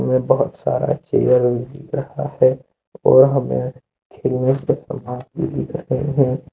बहोत सारा चेयर हिल रहा है और हमें खेलने का समान भी दिख रहे है।